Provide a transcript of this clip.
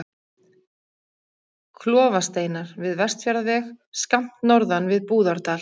Klofasteinar við Vestfjarðaveg, skammt norðan við Búðardal.